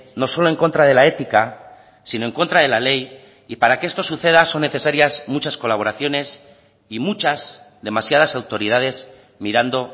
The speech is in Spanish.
no solo en contra de la ética sino en contra de la ley y para que esto suceda son necesarias muchas colaboraciones y muchas demasiadas autoridades mirando